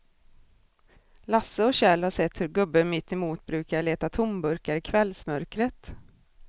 Lasse och Kjell har sett hur gubben mittemot brukar leta tomburkar i kvällsmörkret.